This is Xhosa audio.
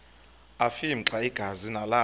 afimxa igazi nalapho